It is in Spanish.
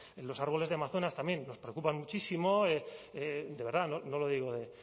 los árboles de amazonas también nos preocupan muchísimo de verdad no lo digo